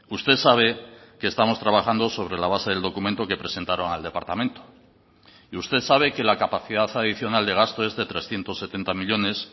usted sabe que estamos trabajando sobre la base del documento que presentaron al departamento y usted sabe que la capacidad adicional de gasto es de trescientos setenta millónes